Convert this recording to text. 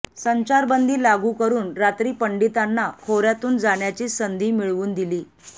संचारबंदी लागू करून रात्री पंडितांना खोऱ्यातून जाण्याची संधी मिळवून दिली